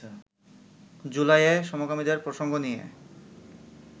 জুলাইয়ে সমকামীদের প্রসঙ্গ নিয়ে